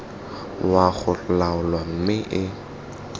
wa go laola mme e